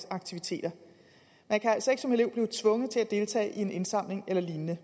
aktiviteter man kan altså ikke som elev blive tvunget til at deltage i en indsamling eller lignende